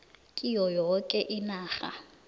kiyo yoke inarha